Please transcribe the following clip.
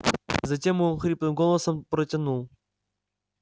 затем он хриплым голосом протянул